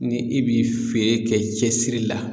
Ni i bi feere kɛ cɛsiri la